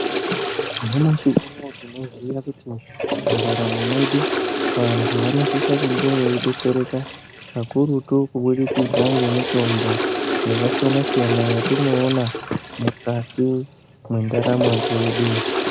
Nyamushi unoo tinoziya kuti mundaramo mwedu vantu vanosisa kunge veidetsereka kakurutu kubudikidza ngemitombo yakasiyana-siyana yatinoona mukati mwendaramo dzedu.